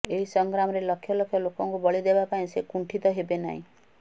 ଏହି ସଂଗ୍ରାମରେ ଲକ୍ଷ ଲକ୍ଷ ଲୋକଙ୍କୁ ବଳି ଦେବା ପାଇଁ ସେ କୁଣ୍ଠିତ ହେବେ ନାହିଁ